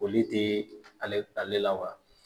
Foli tɛ ale ale la wa